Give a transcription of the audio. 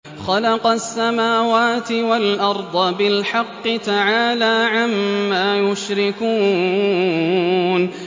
خَلَقَ السَّمَاوَاتِ وَالْأَرْضَ بِالْحَقِّ ۚ تَعَالَىٰ عَمَّا يُشْرِكُونَ